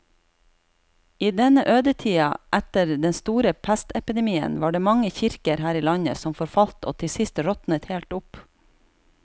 I denne ødetida etter den store pestepidemien var det mange kirker her i landet som forfalt og til sist råtnet helt opp.